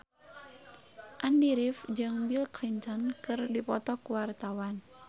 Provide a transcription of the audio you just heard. Andy rif jeung Bill Clinton keur dipoto ku wartawan